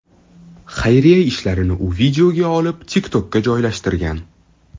Xayriya ishlarini u videoga olib, TikTok’ka joylashtirgan.